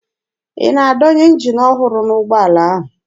Ị na-adọnye njin ọhụrụ n'ụgbọala ahụ?